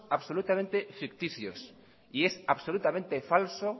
absolutamente ficticios y es absolutamente falso